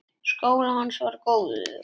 Skólinn hans var góður.